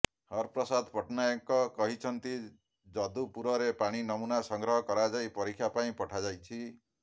ହରପ୍ରସାଦ ପଟ୍ଟନାୟକ କହିଛନ୍ତି ଯଦୁପୁରରେ ପାଣି ନମୁନା ସଂଗ୍ରହ କରାଯାଇ ପରୀକ୍ଷା ପାଇଁ ପଠାଯାଇଛି